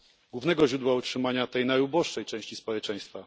głównego źródła utrzymania tej najuboższej części społeczeństwa.